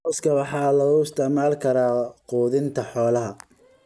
Cawska waxaa loo isticmaali karaa quudinta xoolaha.